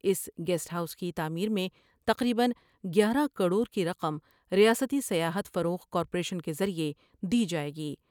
اس guest house کی تعمیر میں تقریبا گیارہ کروڑ کی رقم ریاستی سیاحت فروغ کارپوریشن کے ذریعہ دی جائے گی ۔